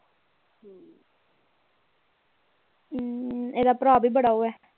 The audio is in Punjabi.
ਹਮ ਇਹਦਾ ਭਰਾ ਵੀ ਬੜਾ ਉਹ ਏ